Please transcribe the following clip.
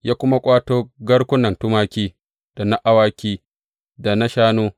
Ya kuma ƙwato garkunan tumaki, da na awaki, da na shanu.